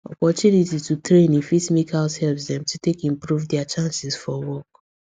opportunity to training fit make househelps dem to take improve dia chances for work